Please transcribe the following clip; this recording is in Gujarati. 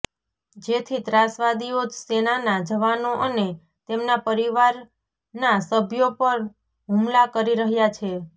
જેથી ત્રાસવાદીઓ સેનાના જવાનો અને તેમના પરિવારના સભ્યો પર હુમલા કરી રહ્યા છે